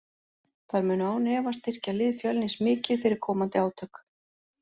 Þær munu án efa styrkja lið Fjölnis mikið fyrir komandi átök.